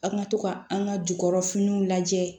An ka to ka an ka jukɔrɔfiniw lajɛ